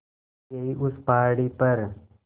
यहीं उस पहाड़ी पर